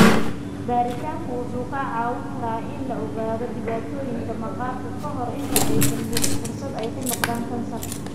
Baaritaanku wuxuu kaa caawin karaa in la ogaado dhibaatooyinka maqaarka ka hor inta aysan helin fursad ay ku noqdaan kansar.